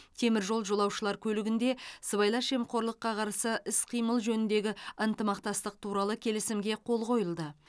теміржол жолаушылар көлігінде сыбайлас жемқорлыққа қарсы іс қимыл жөніндегі ынтымақтастық туралы келісімге қол қойылды